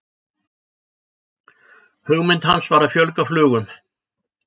hugmynd hans var að fjölga flugum